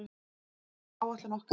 Það hefur alltaf verið áætlun okkar.